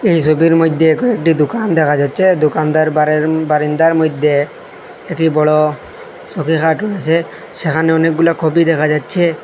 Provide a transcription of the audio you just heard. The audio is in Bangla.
এই সবির মইদ্যে কয়েকটি দুকান দেখা যাচ্চে দোকানদার বারের বারিন্দার মইদ্যে একটি বড় সৌকি খাট রয়েসে সেহানে অনেকগুলা কপি দেখা যাচ্ছে।